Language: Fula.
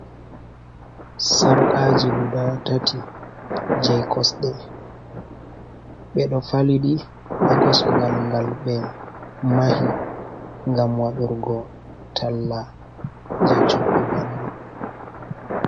Sarkaaji guda tati, jey kosɗe, ɓe ɗo faliɗi haa kosngal ngal ɓe mahi ngam wadurgo talla jey coggu man.